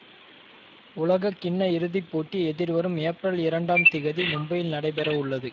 உலக கிண்ண இறுதி போட்டி எதிர்வரும் ஏப்ரல் இரண்டாம் திகதி மும்பையில் நடைபெறவுள்ளது